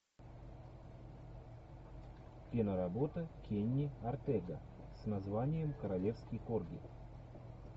киноработа кенни ортега с названием королевский корги